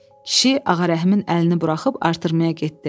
Kişi Ağarəhimin əlini buraxıb artırmaya getdi.